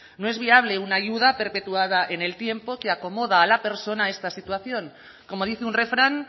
no es viable una ayuda perpetuada en el tiempo que acomoda a la persona a esta situación como dice un refrán